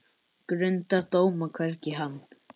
Grundar dóma, hvergi hann